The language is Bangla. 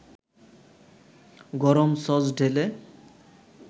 গরম সস ঢেলে